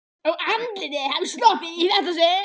Og andlitið hafði sloppið í þetta sinn.